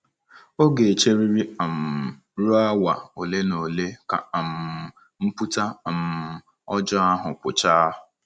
Ọ ga-echeriri um ruo awa ole na ole ka um mpụta um ọjọọ ahụ pụchaa.